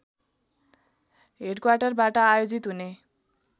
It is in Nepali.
हेडक्वाटरबाट आयोजित हुने